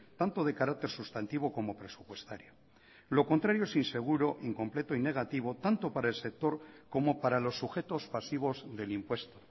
tanto de carácter sustantivo como presupuestario lo contrario es inseguro incompleto y negativo tanto para el sector como para los sujetos pasivos del impuesto